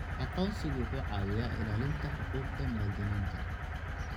Aqoonsigu wuxuu caawiyaa ilaalinta xuquuqda muwaadiniinta.